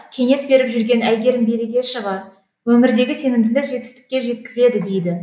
кеңес беріп жүрген әйгерім берекешова өмірдегі сенімділік жетістікке жеткізеді дейді